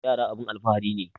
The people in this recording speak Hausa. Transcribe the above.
Yara abun alfahari ne